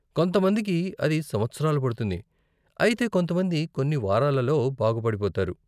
కొంతమందికి అది సంవత్సరాలు పడుతుంది, అయితే కొంతమంది కొన్ని వారాలలో బాగుపడిపోతారు.